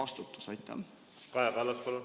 Kaja Kallas, palun!